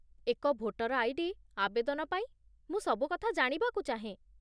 ଏକ voter ID. ଆବେଦନ ପାଇଁ ମୁଁ ସବୁକଥା ଜାଣିବାକୁ ଚାହେଁ